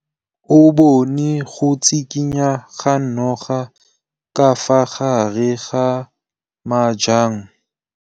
O bone go tshikinya ga noga ka fa gare ga majang.